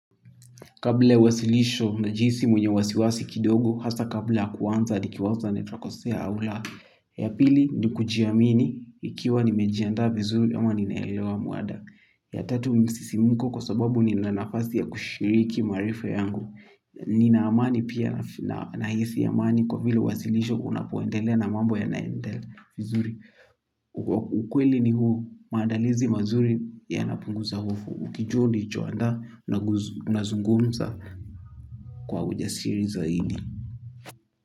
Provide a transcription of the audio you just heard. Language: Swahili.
Kabla ya wasilisho najiisi mwenye wasiwasi kidogo, hasa kabla kuwanza dikiwaza na takosea au la. Ya pili ni kujiamini ikiwa nimejiandaa vizuri ama ninaelewa muada. Ya tatu msisimuko kwa sababu ni nanafasi ya kushiriki maarifa yangu. Ni naamani pia nahisi amani kwa vile uwasilisho unapoendelea na mambo ya naendela vizuri. Ukweli ni huu maandalizi mazuri yanapunguza hofu. Ukijua ulichoandaa na unazungumza kwa uja siri zaidi.